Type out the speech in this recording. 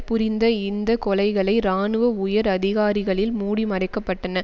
புரிந்த இந்த கொலைகளை இராணுவ உயர் அதிகாரிகளில் மூடி மறைக்கப்பட்டன